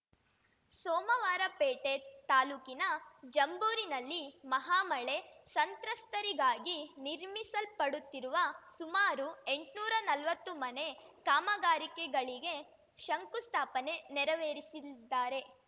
ಸೋಮವಾರಪೇಟೆ ತಾಲೂಕಿನ ಜಂಬೂರಿನಲ್ಲಿ ಮಹಾಮಳೆ ಸಂತ್ರಸ್ತರಿಗಾಗಿ ನಿರ್ಮಿಸಲ್ಪಡುತ್ತಿರುವ ಸುಮಾರು ಎಂಟ್ನೂರಾ ನಲ್ವತ್ತು ಮನೆ ಕಾಮಗಾರಿಗಳಿಗೆ ಶಂಕುಸ್ಥಾಪನೆ ನೆರವೇರಿಸಲಿದ್ದಾರೆ